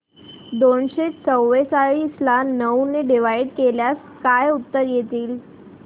दोनशे चौवेचाळीस ला नऊ ने डिवाईड केल्यास काय उत्तर येईल